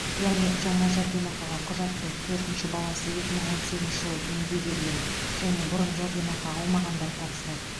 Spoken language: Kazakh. яғни жаңа жәрдемақыға құжатты төртінші баласы екі мың он сегізінші жылы дүниеге келген және бұрын жәрдемақы алмағандар тапсырады